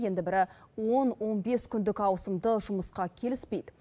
енді бірі он он бес күндік ауысымды жұмысқа келіспейді